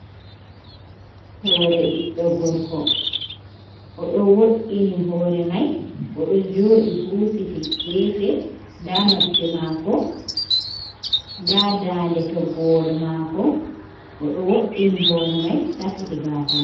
Hoore ɓiɗɗo gorko, o ɗo woɗɗini hoore may, o ɗo jooɗi huusiti geefe, ndaa noppi maako, ndaa daande toggowol maako, o ɗo woɗɗini hoore may safiti gaasa may.